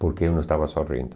Porque eu não estava sorrindo.